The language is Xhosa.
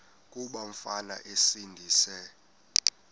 kuba umfana esindise